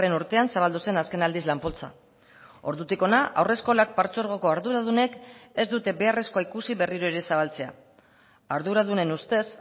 urtean zabaldu zen azken aldiz lan poltsa ordutik hona haurreskolak partzuergoko arduradunek ez dute beharrezkoa ikusi berriro ere zabaltzea arduradunen ustez